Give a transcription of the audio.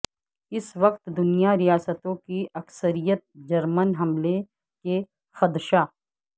اس وقت دنیا ریاستوں کی اکثریت جرمن حملے کے خدشہ